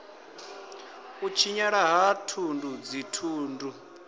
u tshinyala ha thundu dzithundu